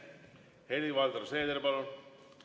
Helir-Valdor Seeder, palun!